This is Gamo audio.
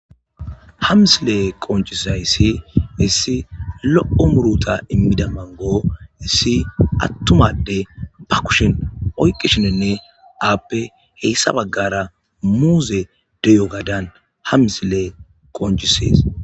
hamsile qoncisay ssi issi loqo muruta immida mango issi attumadde ba kushin oyqishinenne aappe heyssa baggara muuze deyo gadan hamsile qoncisees